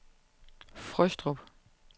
Frøstrup